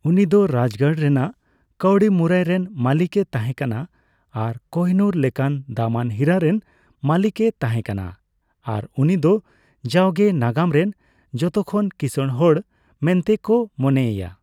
ᱩᱱᱤ ᱫᱚ ᱨᱟᱡᱜᱟᱲ ᱨᱮᱱᱟᱜ ᱠᱟᱹᱣᱰᱤ ᱢᱩᱨᱟᱹᱭ ᱨᱮᱱ ᱢᱟᱹᱞᱤᱠ ᱮ ᱛᱟᱸᱦᱮ ᱠᱟᱱᱟ ᱟᱨ ᱠᱳᱦᱤᱱᱩᱨ ᱞᱮᱠᱟᱱ ᱫᱟᱢᱟᱱ ᱦᱤᱨᱟᱹ ᱨᱮᱱ ᱢᱟᱹᱞᱤᱠ ᱮ ᱛᱟᱸᱦᱮ ᱠᱟᱱᱟ ᱟᱨ ᱩᱱᱤ ᱫᱚ ᱡᱟᱣᱜᱮ ᱱᱟᱜᱟᱢ ᱨᱮᱱ ᱡᱚᱛᱚᱠᱷᱚᱱ ᱠᱤᱥᱟᱹᱲ ᱦᱚᱲ ᱢᱮᱱᱛᱮ ᱠᱚ ᱢᱚᱱᱮᱭᱮᱭᱟ ᱾